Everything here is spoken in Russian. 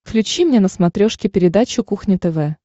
включи мне на смотрешке передачу кухня тв